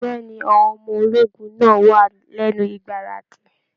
Bẹ̀ẹ́ni, àwọn ọmọ ológun náà wà lẹnu igbaradi.